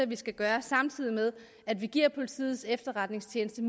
vi skal gøre samtidig med at vi giver politiets efterretningstjeneste